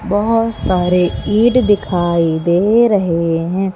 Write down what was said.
बहोत सारे ईंट दिखाई दे रहे हैं।